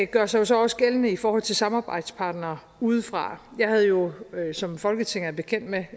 gør sig så også gældende i forhold til samarbejdspartnere udefra jeg havde jo som folketinget er bekendt med